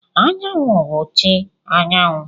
Anyanwu bụ chi anyanwụ.